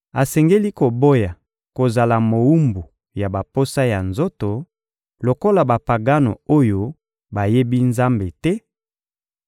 asengeli koboya kozala mowumbu ya baposa ya nzoto lokola Bapagano oyo bayebi Nzambe te,